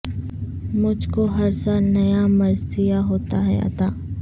مجھ کو ہر سال نیا مرثیہ ہوتا ہے عطا